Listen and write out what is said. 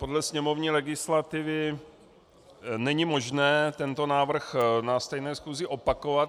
Podle sněmovní legislativy není možné tento návrh na stejné schůzi opakovat.